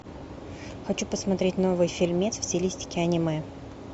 хочу посмотреть новый фильмец в стилистике аниме